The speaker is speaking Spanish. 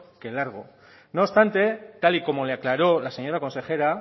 que largo no obstante tal y como le aclaró la señora consejera